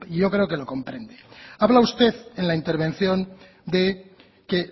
yo creo que lo comprende habla usted en la intervención de que